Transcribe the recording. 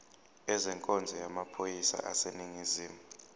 ezenkonzo yamaphoyisa aseningizimu